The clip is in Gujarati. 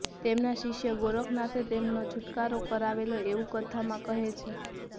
તેમના શિષ્ય ગોરખનાથે એમનો છૂટકારો કરાવેલો એવું કથામાં કહે છે